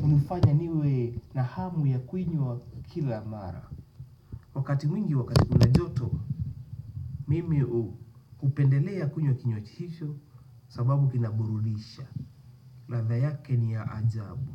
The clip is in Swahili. hufanya niwe na hamu ya kuinywa kila mara. Wakati mwingi wakati kuna joto mimi hupendelea kunywaji hicho sababu kinaburudisha. Ladha yake ni ya ajabu.